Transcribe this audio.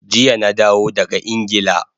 Jiya na dawo daga Ingila